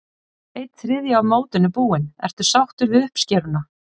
Einn þriðji af mótinu búinn, ertu sáttur við uppskeruna?